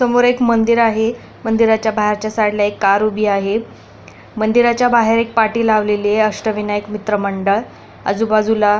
समोर एक मंदिर आहे मंदिराच्या बाहेरच्या साईडला एक कार उभी आहे मंदिराच्या बाहेर एक पाठी लावलेली य अष्टविनायक मित्र मंडळ आजुबाजुला --